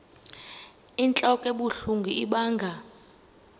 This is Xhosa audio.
inentlok ebuhlungu ibanga